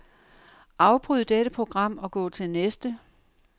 Afbryd dette program og gå til næste.